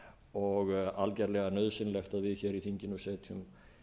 og algjörlega nauðsynlegt að við hér í þinginu setjum